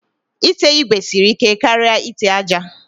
Ite igwe siri ike karịa ite aja